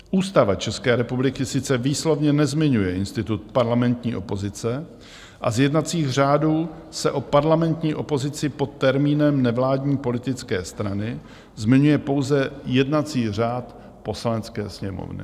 Ústava České republiky sice výslovně nezmiňuje institut parlamentní opozice a z jednacích řádů se o parlamentní opozici pod termínem nevládní politické strany zmiňuje pouze jednací řád Poslanecké sněmovny.